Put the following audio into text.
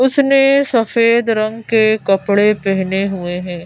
उसने सफेद रंग के कपड़े पहने हुए हैं।